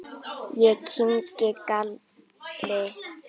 Ég kyngi galli.